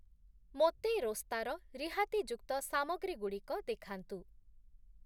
ମୋତେ ରୋସ୍ତା ର ରିହାତିଯୁକ୍ତ ସାମଗ୍ରୀ‌ଗୁଡ଼ିକ ଦେଖାନ୍ତୁ ।